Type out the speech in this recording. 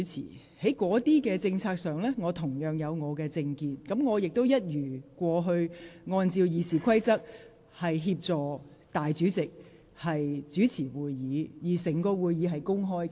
對於該等政策，我有自己的政見，但我亦一如既往按照《議事規則》以立法會代理主席身份主持會議，而會議整個過程公開進行。